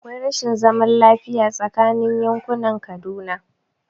Akwai rashin zaman lafiya tsakanin yankunan Kaduna